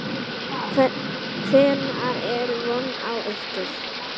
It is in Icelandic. Hvenær er von á ykkur?